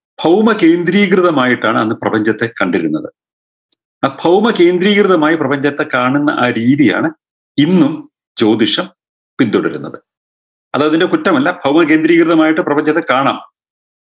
ഭൗമകേന്ദ്രീകൃതമായിട്ടാണ് അന്ന് പ്രപഞ്ചത്തെ കണ്ടിരുന്നത് അ ഭൗമകേന്ദ്രീകൃതമായ് പ്രപഞ്ചത്തെ കാണുന്ന ആ രീതിയാണ് ഇന്നും ജ്യോതിഷം പിന്തുടരുന്നത് അത് അതിൻറെ കുറ്റമല്ല ഭൗമകേന്ദ്രീകൃതമായിട്ട് കാണാം